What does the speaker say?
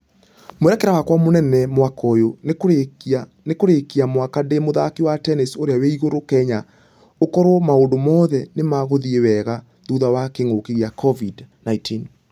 Mwerekera wakwa mũnene mwaka ũyũ nĩ kũrĩkia mwaka ndĩ mũthaki wa tennis ũrĩa wĩ igũrũ kenya ũkorwo maũndũ mothe nĩmagũthie wwga thutha wa kĩng'uki gĩa covid-19.